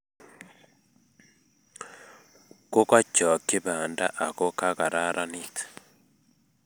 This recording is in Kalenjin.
Kokochokchi banda ako kararanit